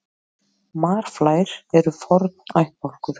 Marflær eru forn ættbálkur.